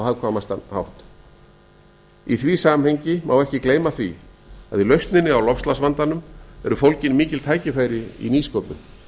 hagkvæmastan hátt í því samhengi má ekki gleyma því að í lausninni á loftslagsvandanum eru fólgin mikil tækifæri í nýsköpun